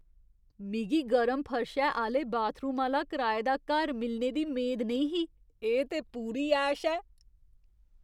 मिगी गरम फर्शै आह्‌ले बाथरूम आह्‌ला कराए दा घर मिलने दी मेद नेईं ही, एह् ते पूरी ऐश ऐ!